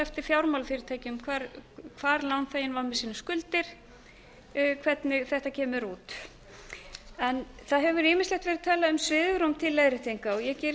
eftir fjármálafyrirtækjum hvar lánþeginn var með sínar skuldir hvernig þetta kemur út það hefur ýmislegt verið talað um svigrúm til leiðréttinga og ég geri